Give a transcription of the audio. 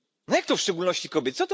Jak to w szczególności kobiet?